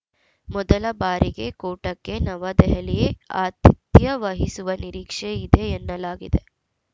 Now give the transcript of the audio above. ಮೊದಲ ಬಾರಿಗೆ ಕೂಟಕ್ಕೆ ನವದೆಹಲಿ ಆತಿಥ್ಯ ವಹಿಸುವ ನಿರೀಕ್ಷೆ ಇದೆ ಎನ್ನಲಾಗಿದೆ